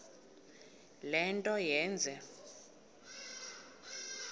le nto yenze